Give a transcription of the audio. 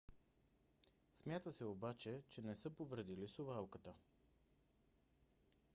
смята се обаче че не са повредили совалката